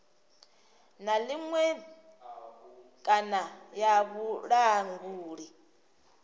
na iṅwe kana ya vhulanguli